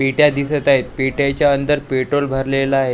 पेट्या दिसत आहेत पेट्याच्या अंदर पेट्रोल भरलेलं आहे.